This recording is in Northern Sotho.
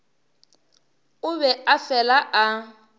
o be a fela a